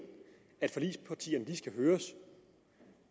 at forligspartierne skal høres